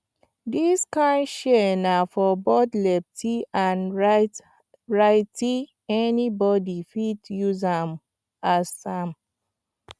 dis kind shears na for both lefty and rightyanybody fit use am use am